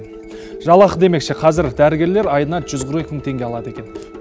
жалақы демекші қазір дәрігерлер айына жүз қырық екі мың теңге алады екен